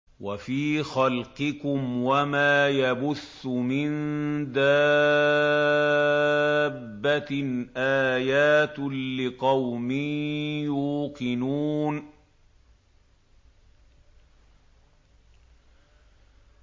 وَفِي خَلْقِكُمْ وَمَا يَبُثُّ مِن دَابَّةٍ آيَاتٌ لِّقَوْمٍ يُوقِنُونَ